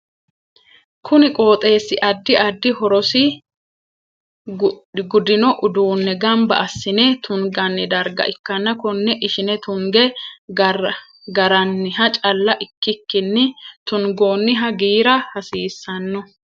Kunni qooxeesi addi addi horosi gudino uduune ganba asine tunganni darga ikanna konne ishine tunge garanniha calla ikikinni tungoonniha giira hasiisano.